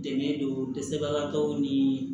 Dɛmɛ don dɛsɛbagatɔw ni